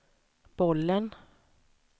bollen